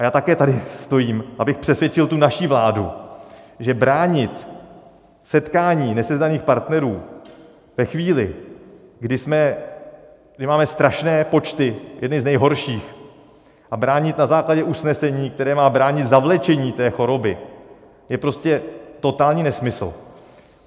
A já také tady stojím, abych přesvědčil tu naši vládu, že bránit setkání nesezdaných partnerů ve chvíli, kdy máme strašné počty, jedny z nejhorších, a bránit na základě usnesení, které má bránit zavlečení té choroby, je prostě totální nesmysl.